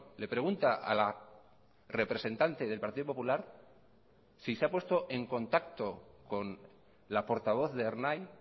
le pregunta a la representante del partido popular si se ha puesto en contacto con la portavoz de ernai